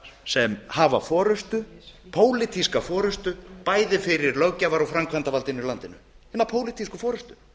sem hafa forustu pólitíska forustu bæði fyrir löggjafar og framkvæmdarvaldinu í landinu hina pólitísku forustu